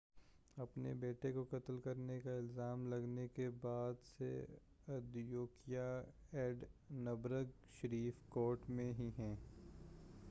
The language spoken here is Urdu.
اپنے بیٹے کو قتل کرنے کا الزام لگنے کے بعد سے ادیکویا ایڈنبرگ شیرف کورٹ میں ہی ہے